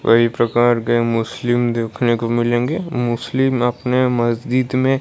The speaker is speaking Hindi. कई प्रकार के मुस्लिम देखने को मिलेंगे मुस्लिम अपने मस्जिद में--